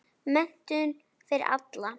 Menntun fyrir alla.